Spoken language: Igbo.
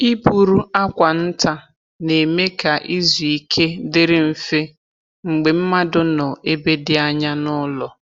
Ịburu akwa nta na-eme ka izu ike dịrị mfe mgbe mmadụ nọ ebe dị anya n’ụlọ.